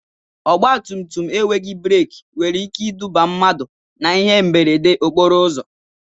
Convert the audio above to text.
Ọgba tum tum enweghị breki nwere ike iduba mmadụ na ihe mberede okporo ụzọ.